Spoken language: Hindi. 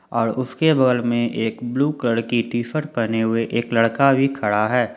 और उसके बगल में एक ब्लू कलर की टी_शर्ट पहने हुए एक लड़का भी खड़ा है।